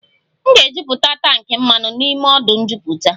M ga-ejuputa tankị mmanụ m n'ọdụ njuputa